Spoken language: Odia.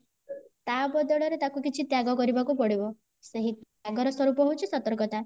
ଆ ବଦଳରେ ତାକୁ କିଛି ତ୍ୟାଗ କରିବାକୁ ପଡିବ ସେହି ତ୍ୟାଗ ର ସ୍ୱରୂପ ହେଉଚି ସତର୍କତା